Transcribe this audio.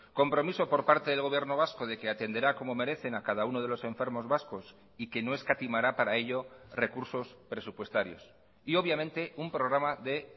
compromiso por parte del gobierno vasco de que atenderá como merecen a cada uno de los enfermos vascos y que no escatimará para ello recursos presupuestarios y obviamente un programa de